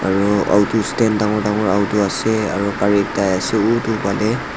aro auto stand dangor dangor auto ase aro gari ekta ase utu phale.